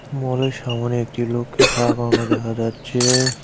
মলের সামনে একটি লোককে খাড়া করানো দেখা যাচ্ছে।